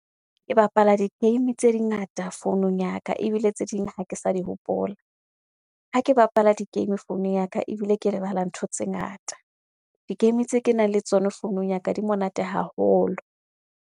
Ke bapala di-game tse di ngata founung ya ka ebile tse ding ha ke sa di hopola. Ha ke bapala di-game founung ya ka ebile ke lebala ntho tse ngata. Di-game tse ke nang le tsona founung ya ka di monate haholo.